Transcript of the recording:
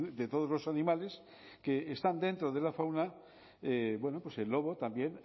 de todos los animales que están dentro de la fauna bueno pues el lobo también